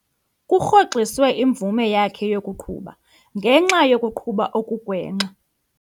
Kurhoxiswe imvume yakhe yokuqhuba ngenxa yokuqhuba okugwenxa.